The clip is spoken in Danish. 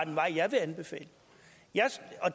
en vej jeg vil anbefale